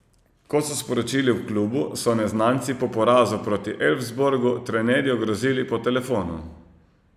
Kot so sporočili v klubu, so neznanci po porazu proti Elfsborgu trenerju grozili po telefonu.